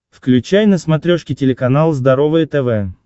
включай на смотрешке телеканал здоровое тв